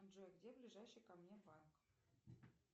джой где ближайший ко мне парк